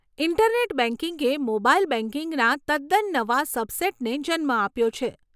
Internet બેંકિંગે mobile બેંકિંગના તદ્દન નવા સબસેટને જન્મ આપ્યો છે.